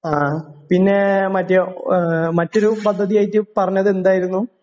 ആ പിന്നെ മറ്റേ ആ ഏഹ് മറ്റൊരു പദ്ധതിയായിട്ട് പറഞ്ഞതെന്തായിരുന്നു?